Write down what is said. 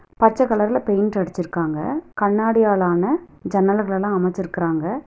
பச்ச கலர்ல பெயிண்ட் அடிச்சுருக்காங்க கண்ணாடியால் ஆன ஜன்னலுகளெல்லா அமச்சுருக்கறாங்க.